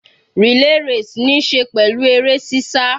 Relay race níí ṣe pẹ̀lú eré sísá.